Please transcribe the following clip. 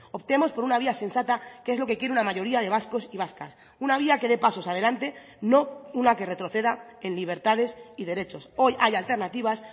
optemos por una vía sensata que es lo que quiere una mayoría de vascos y vascas una vía que dé pasos adelante no una que retroceda en libertades y derechos hoy hay alternativas